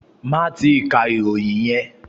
Máì tíì ka ìròyìn yẹn!